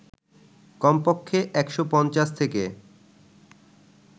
কমপক্ষে ১৫০ থেকে